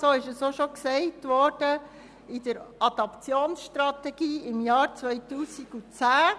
so wurde es auch schon in der Adaptionsstrategie im Jahr 2010 gesagt.